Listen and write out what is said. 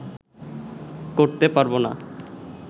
করতে পারবো না